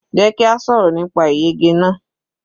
Jẹ́ kí a sọ̀rọ̀ nípa ìyege náà.